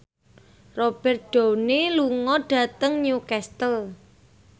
Robert Downey lunga dhateng Newcastle